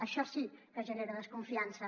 això sí que genera desconfiança